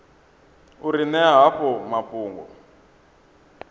u ri ṅea havho mafhungo